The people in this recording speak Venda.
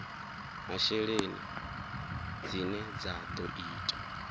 masheleni dzine dza ḓo ita